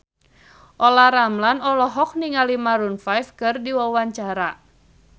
Olla Ramlan olohok ningali Maroon 5 keur diwawancara